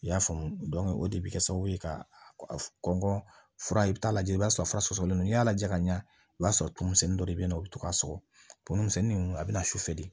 I y'a faamu o de bɛ kɛ sababu ye ka kɔn fura i b'a lajɛ i b'a sɔrɔ fura sɔsɔlen don n'i y'a lajɛ ka ɲa o b'a sɔrɔ tumu misɛnni dɔ de bɛ ye nɔ u bɛ to ka sɔgɔ tumu misɛnnin ninnu a bɛ na sufɛ de